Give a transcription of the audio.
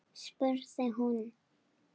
spurði hún